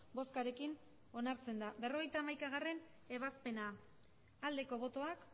boskarekin onartzen da berrogeita hamaikagarrena ebazpena aldeko botoak